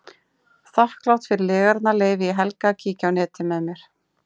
Þakklát fyrir lygarnar leyfi ég Helga að kíkja á netið með mér.